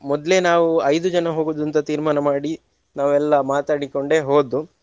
ಮೊದ್ಲೇ ನಾವು ಐದು ಜನ ಹೋಗುದು ಅಂತ ತೀರ್ಮಾನ ಮಾಡಿ ನಾವೆಲ್ಲಾ ಮಾತಾಡಿಕೊಂಡೇ ಹೋದ್ದು.